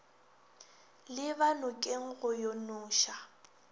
leba nokeng go yo noša